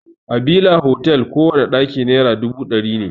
A bila otal kowana ɗaki naira dubu ɗari ne.